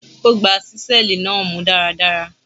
Ó gbá ṣíṣẹ́ẹ̀lì náà mú dáradára.